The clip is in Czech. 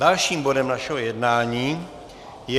Dalším bodem našeho jednání je